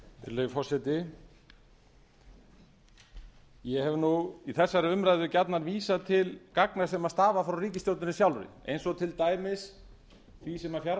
virðulegi forseti ég hef í þessari umræðu gjarnan vísað til gagna sem stafa frá ríkisstjórninni sjálfri eins og til dæmis því sem